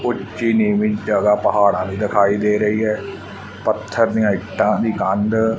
ਉੱਚੀ ਨੀਵੀ ਜਗਾ ਪਹਾੜਾਂ ਦੀ ਦਿਖਾਈ ਦੇ ਰਹੀ ਏ ਪੱਥਰ ਨਹੀਂ ਇੱਟਾਂ ਦੀ ਕੰਧ--